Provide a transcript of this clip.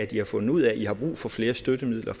i har fundet ud af at i har brug for flere støttemidler